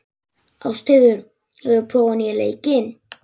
Ástheiður, hefur þú prófað nýja leikinn?